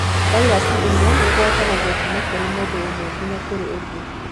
Vairaci ĩno ĩgwatanagio kuma kũrĩ mũndũ ũmwe nginya kũrĩ ũngĩ.